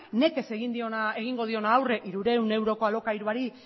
nekez egingo duena aurre hirurehun euroko alokairuari